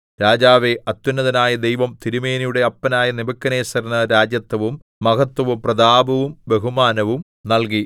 രാജാവേ അത്യുന്നതനായ ദൈവം തിരുമേനിയുടെ അപ്പനായ നെബൂഖദ്നേസരിന് രാജത്വവും മഹത്വവും പ്രതാപവും ബഹുമാനവും നല്കി